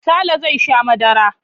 Sale zai sha madara.